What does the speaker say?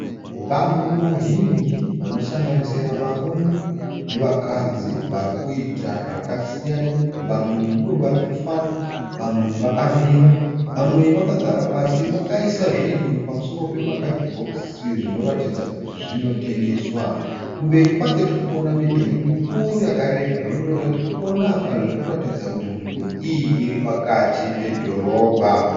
Vanhu vazhinji vanosanganisira varume nevakadzi vari kuita zvakasiyana. Vamwe ndivo vari kufamba, vamwe vakamira, vamwe vakagara pasi vakaisa zvinhu pamusoro pamakadhibhokisi zvinoratidza kuti zvinotengeswa. Kumberi kwacho tiri kuona midhuri mikuru yakareba. Zvinhu zvatiri kuona apa zviri kuratidza kuti nzvimbo iyi iri pakati pedhorobha.